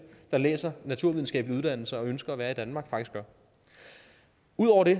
der læser naturvidenskabelige uddannelser og ønsker at være i danmark faktisk gør ud over det